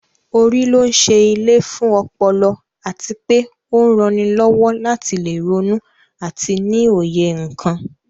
Orí ló ń ṣe ilé fún ọpọlọ àti pé ó ń ranilọ́wọ́ láti lè ronú àti ní òye nǹkan